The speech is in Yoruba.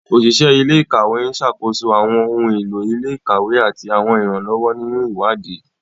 Oṣiṣẹ ile-ikawe n ṣakoso awọn ohun elo ile-ikawe ati awọn iranlọwọ ninu iwadii.